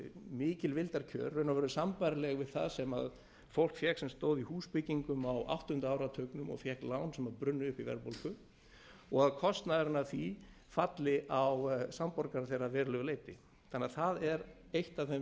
mikil vildarkjör í raun og veru sambærileg við það sem fólk fékk sem stóð í húsbyggingum á áttunda áratugnum og fékk lán sem brunnu upp í verðbólgu og að kostnaðurinn af því falli á samborgara þeirra að verulegu leyti þannig að það er eitt af þeim